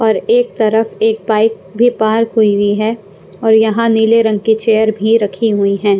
और एक तरफ एक बाइक भी पार्क हुई हुई है और यहाँ नीले रंग की चेयर भी रखी हुई हैं।